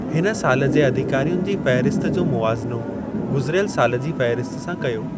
हिन साल जे अधिकारियुनि जी फ़हिरिस्त जो मुवाज़िनो गुज़िरयल साल जी फ़हिरिस्त सां कयो।